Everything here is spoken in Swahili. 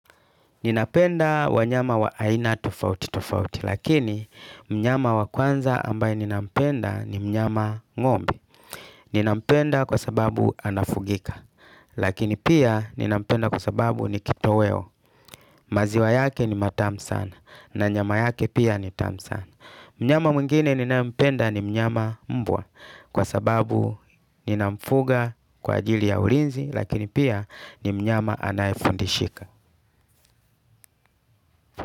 Ninapenda wa nyama wa aina tofauti tofauti, lakini mnyama wa kwanza ambaye ninapenda ni mnyama ng'ombe. Ninampenda kwa sababu anafugika, lakini pia ninampenda kwa sababu ni kito weo, maziwa yake ni matamu sana, na nyama yake pia ni tamu sana. Mnyama mwingine ninayependa ni mnyama mbwa, kwa sababu ninafuga kwa ajili ya ulinzi, lakini pia ni mnyama anayefundishika.